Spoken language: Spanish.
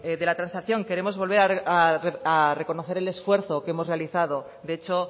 de la transacción queremos volver a reconocer el esfuerzo que hemos realizado de hecho